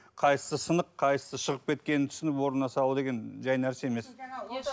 қайсысы сынық қайсысы шығып кеткенін түсініп орнына салу деген жай нәрсе емес